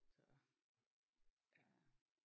Så ja